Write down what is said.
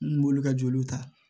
N b'olu ka joliw ta